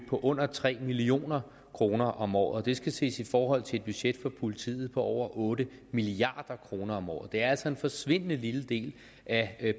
på under tre million kroner om året det skal ses i forhold til et budget for politiet på over otte milliard kroner om året det er altså en forsvindende lille del af